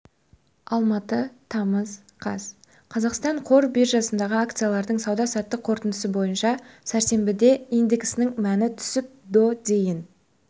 алматы тамыз қаз қазақстан қор биржасындағы акциялардың сауда-саттық қорытындысы бойынша сәрсенбіде индексінің мәні түсіп до дейін